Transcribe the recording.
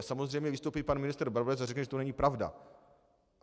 A samozřejmě vystoupí pan ministr Brabec a řekne, že to není pravda.